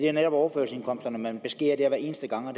er overførselsindkomsterne man beskærer hver eneste gang og